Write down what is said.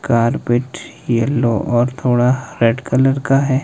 Carpet yellow और थोड़ा red colour का है।